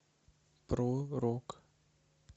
про рок